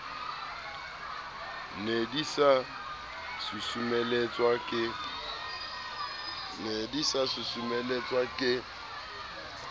ne di sa susumeletswa ke